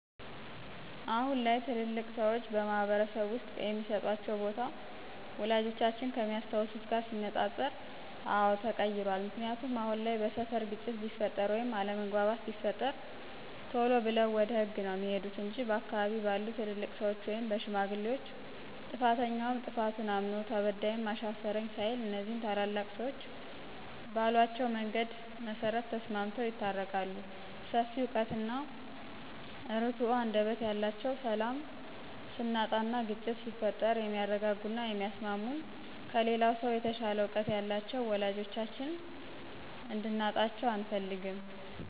አሁን ላይ ትልልቅ ሰዎች በማህበረስብ ውስጥ የሚስጧቸው ቦታ፣ ወላጆቻችን ከሚያስታውሱት ጋር ሲነፃፀር አወ ተቀይሯል። ምክንያቱ አሁን ላይ በስፈር ግጭት ቢፈጥር ወይም አለምግባባት ቢፈጠር ቴሎ ብለው ወደ ህግ ነው ሚሄዱት እንጅ በአካባቢ ባሉ ትልልቅ ሰዎች ወይም በሽማግሌዎች ጥፋተኛውም ጥፋቱን እምኖ ተበዳይም አሻፈኝ ሳይል እኒዚህ ታላላቅ ሰዎች ባሏቸው መንገድ መሰረት ተስማምተው ይታረቃሉ ሰፊ እውቀት እና እርቱ አንደበት ያላቸውን ሰላም ስናጣና ግጭት ሲፈጠር የሚያርጋጉና የሚያስሟሙን ከሌላው ሰው የተሻለ እውቀት ያላቸውን ወላጆቻችን እንድናጣቸው አንፈልግም።